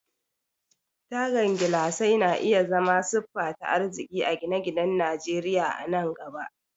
Tagan gilasai na iya zama siffa ta arziki a gine-ginen Najeriya a nan gaba.